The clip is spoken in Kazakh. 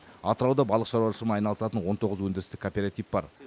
атырауда балық шаруашылығымен айналысатын он тоғыз өндірістік кооператив бар